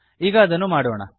ಈಗ ಅದನ್ನು ಮಾಡೋಣ